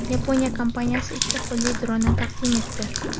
Yaponiya kompaniyasi ikki qo‘lli dronni taqdim etdi.